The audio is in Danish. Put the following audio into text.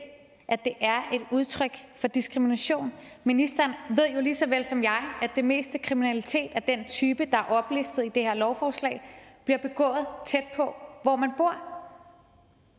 at det er et udtryk for diskrimination ministeren ved jo lige så vel som jeg at det meste kriminalitet af den type der er oplistet i det her lovforslag bliver begået tæt på hvor man bor